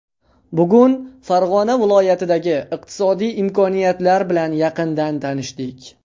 Bugun Farg‘ona viloyatidagi iqtisodiy imkoniyatlar bilan yaqindan tanishdik.